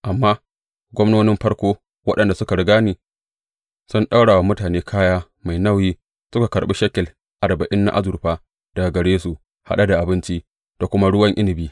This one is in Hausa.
Amma gwamnonin farko, waɗanda suka riga ni, sun ɗaura wa mutane kaya mai nauyi suka karɓi shekel arba’in na azurfa daga gare su haɗe da abinci da kuma ruwan inabi.